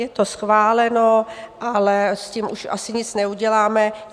Je to schváleno, ale s tím už asi nic neuděláme.